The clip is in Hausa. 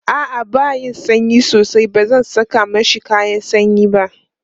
a'a ba sanyi sosai bazan Saka mashi kayan sanyi ba